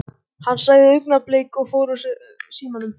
Hann sagði augnablik og fór úr símanum.